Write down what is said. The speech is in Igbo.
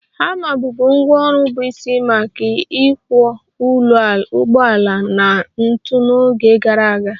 Hama bụbu ngwá ọrụ bụ isi maka ịkwọ ụgbọala na ntu n'oge gara aga